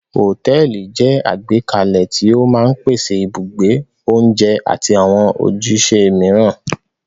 Hòtẹ́ẹ́lì jẹ́ àgbékalẹ̀ tí ó máa ń pèsè ibùgbé, oúnjẹ àti àwọn ojúṣe mìíràn.